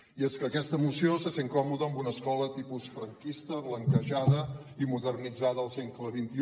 i és que aquesta moció se sent còmoda amb una escola tipus franquista blan·quejada i modernitzada al segle xxi